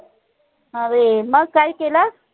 अरे मग काय केलं?